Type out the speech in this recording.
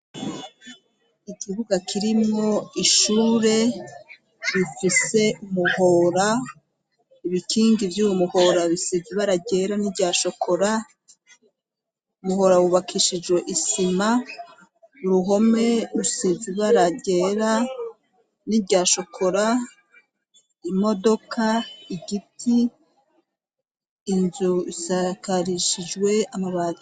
ikibuga kirimwo ishure bifise muhora ibikingi vy'uwu muhora bisizibara ryera niryashokora muhora wubakishijwe isima uruhome rusizi ibara ryera n'iryashokora imodoka igiti inzu isakarishijwe amabati